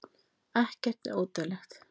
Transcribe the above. ekkert er ódauðlegt